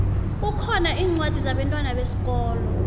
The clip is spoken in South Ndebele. kukhona incwadi zabentwana besikolo